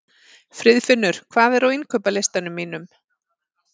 Friðfinnur, hvað er á innkaupalistanum mínum?